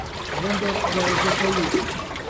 Vendar ga je zatrl.